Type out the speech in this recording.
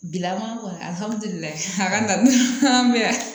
Gɛlɛyama kɔni